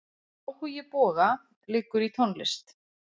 Áhugi Boga liggur í tónlist.